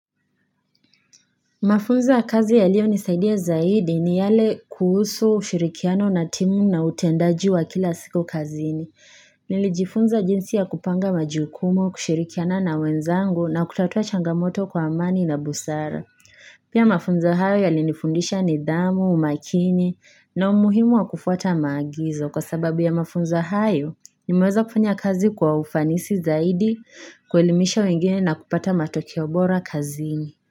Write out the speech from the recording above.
Mafunzo ya kazi yaliyo nisaidia zaidi ni yale kuhusu ushirikiano na timu na utendaji wa kila siku kazini. Nilijifunza jinsi ya kupanga majukumu, kushirikiana na wenzangu na kutatua changamoto kwa amani na busara. Pia mafunzo hayo yalinifundisha nidhamu, umakini na umuhimu wa kufuata maagizo. Kwa sababu ya mafunzo hayo, nimeweza kufanya kazi kwa ufanisi zaidi, kuelimisha wengine na kupata matokeo bora kazini.